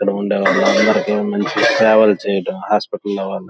ఇక్కడ ఉండే వాళ్ళందరికీ మంచిగా ట్రావెల్ చేయడం హాస్పిటల్ లో.